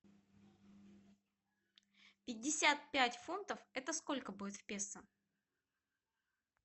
пятьдесят пять фунтов это сколько будет в песо